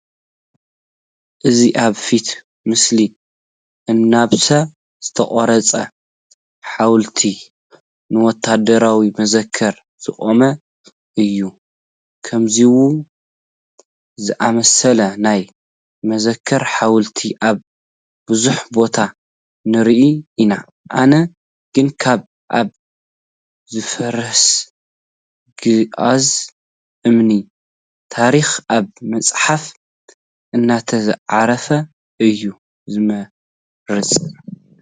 እዚ ኣብ ፊት ምስሊ ኣናብስ ዝተቐረፆ ሓወልቲ ንወታደራዊ መዘክር ዝቖመ እዩ፡፡ ከምዚኦም ዝኣምሰሉ ናይ መዘክር ሓወልቲ ኣብ ብዙሕ ቦታ ንርኢ ኢና፡፡ ኣነ ግን ካብ ኣብ ዝፈርስ ግኡዝ እምኒ ታሪክ ኣብ መፅሓፍ እንተዝዓርፍ እየ ዝመርፅ፡፡